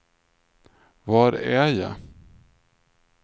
var är jag